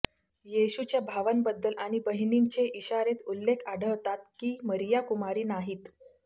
येशूच्या भावांबद्दल आणि बहिणींचे इशारेत उल्लेख आढळतात की मरीया कुमारी नाहीत